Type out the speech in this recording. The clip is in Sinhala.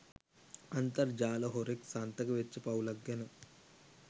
අන්තර්ජාල හොරෙක් සන්තක වෙච්ච පවුලක් ගැන.